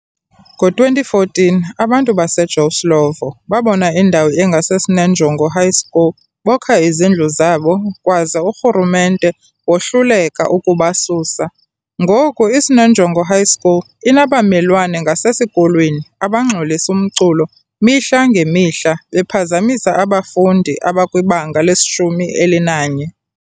Ngo-2014 abantu base Joe Slovo babona indawo engase Sinenjongo High School bokha izindlu zabo kwaze uRhulumente wohluleka ukubasusa, ngoku iSinenjongo High school inabamelwane ngasesikolweni abangxolisa umculo mihla ngemihla bephazamisa abafundi abakwibanga lesi-11.